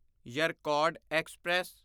Yercaud express